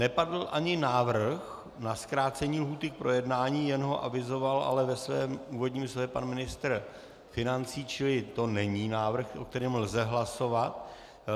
Nepadl ani návrh na zkrácení lhůty k projednání, jen ho avizoval ale ve svém úvodním slově pan ministr financí, čili to není návrh, o kterém lze hlasovat.